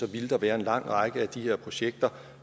ville der være en lang række af de her projekter